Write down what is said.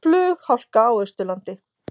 Flughálka á Austurlandi